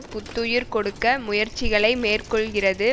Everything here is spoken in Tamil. புத்துயிர் கொடுக்க முயற்சிகளை மேற்கொள்கிறது